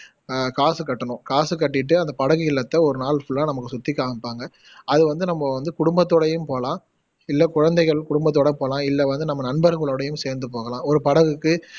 அஹ் காசு கட்டணும் காசு கட்டிட்டு அந்த படகு இல்லத்தை ஒருநாள் ஃபுல்லா நமக்கு சுத்தி காமிப்பாங்க அது வந்து நம்ப வந்து குடும்பத்தோடையும் போகலாம் இல்ல குழந்தைகள் குடும்பத்தோடை போகலாம் இல்ல வந்து நம்ப நண்பர்களோடையும் சேர்ந்து போகலாம் ஒரு படகுக்கு